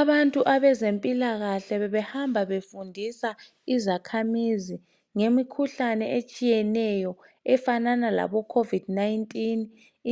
Abantu abezempilakahle bebehamba befundisa izakhamizi ngemikhuhlane etshiyeneyo efanana labo COVID 19,